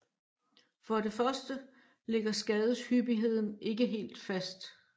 For det første ligger skadeshyppigheden ikke helt fast